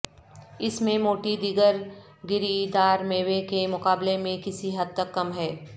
اس میں موٹی دیگر گری دار میوے کے مقابلے میں کسی حد تک کم ہے